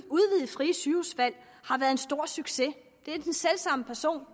frie sygehusvalg har været en stor succes det er den selv samme person